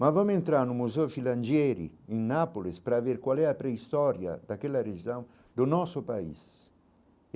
Mas vamo entrar no Museu Filangieri, em Nápoles, para ver qual é a pré-história daquela região do nosso país.